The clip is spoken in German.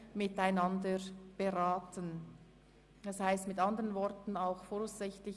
Einsparung von Ressourcen in der Grössenordnung von 2030% durch